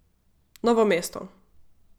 Novo mesto.